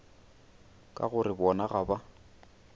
ka gore bona ga ba